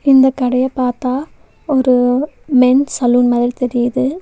இந்த கடைய பாத்தா ஒரு மென்ஸ் சலூன் மாதிரி தெரியிது.